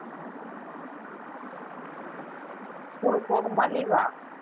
school க்கு போகுமா leave ஆ